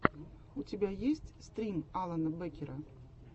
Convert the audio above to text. у тебя есть стрим алана бэкера